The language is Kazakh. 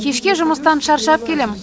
кешке жұмыстан шаршап келем